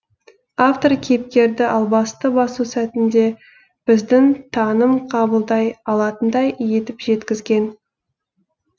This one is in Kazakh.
автор кейіпкерді албасты басу сәтін де біздің таным қабылдай алатындай етіп жеткізген